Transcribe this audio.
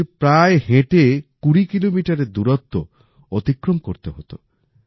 রোজ প্রায় হেঁটে কুড়ি কিলোমিটার এর দূরত্ব অতিক্রম করতে হতো